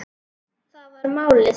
Það var málið.